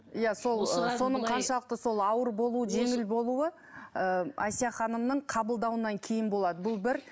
иә сол соның қаншалықты ауыр болуы жеңіл болуы ыыы әсия ханымның қабылдауынан кейін болады бұл бір